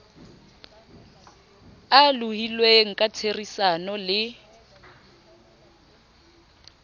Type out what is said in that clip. a lohilweng ka therisano le